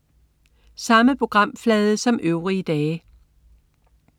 Samme programflade som øvrige dage